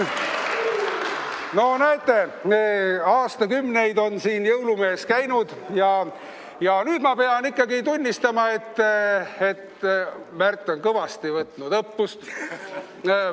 No näete, aastakümneid on siin jõulumees käinud ja nüüd ma pean tunnistama, et Märt on kõvasti õppust võtnud.